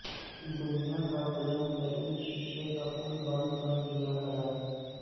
دنیا کا بلند ترین شیشے کا پل بند کر دیا گیا